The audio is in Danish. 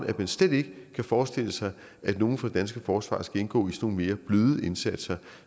at man slet ikke kan forestille sig at nogen fra det danske forsvar skal indgå i nogle mere bløde indsatser